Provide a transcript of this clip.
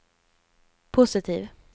positiv